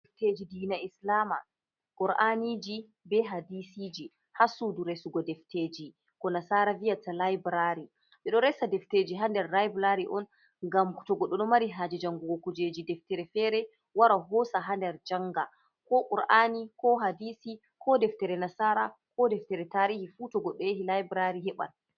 Defteji dina islama kur'aniji be hadisiji ,hasuduresugo defteji ko nasara viyata laibrary, didoresa defteji hader library on gamto gododo mari haje jangukiji deftere fere wara hosa hader janga ko kur’ani ko hadisi ko deftere nasara ko deftere tarihi fu togodo yahi library heban.